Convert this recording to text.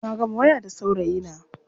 Na gama waya da saurayina.